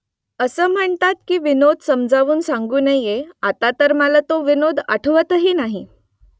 असं म्हणतात की विनोद समजावून सांगू नये आता तर मला तो विनोद आठवतही नाही